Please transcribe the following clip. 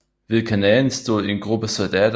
Ved kanalen stod en gruppe soldater